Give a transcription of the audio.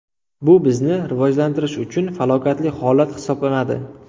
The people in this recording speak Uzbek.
Bu bizni rivojlantirish uchun falokatli holat hisoblanadi.